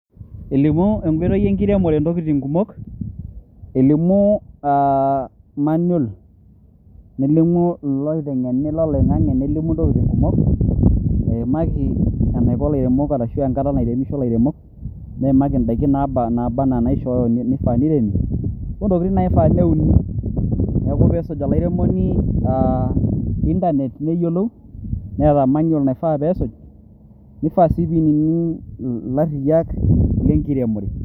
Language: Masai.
Elimu Enkoitoi enkiremore entokitin' kumok, elimu aa manol nelimu ilooteng'eni loloing'ang'e nelimu entokitin' kumok eimaki eneiko ilairemok aashu enkata nairemisho ilairemok, neimaki eedaiki naaba enaaba enaa neishooyo neifaa neiremi, Intokitin naifaa neuni. Neaku peesuj olairemoni intanet neyiolou Neeta manol naifaa peesuj neifaa sii peinining' ilarriyiak lenkiremore.